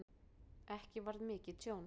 Ekki varð mikið tjón